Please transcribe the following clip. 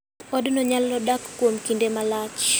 Odno nyalo dak kuom kinde malach.